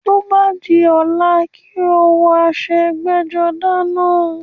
Tó bá di ọ̀la, kó o wọ aṣọ ẹgbẹ́-jọdá náà.